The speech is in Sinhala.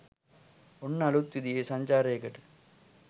ඔන්න අළුත් විදිහේ සංචාරයකට